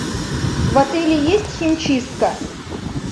в отеле есть химчистка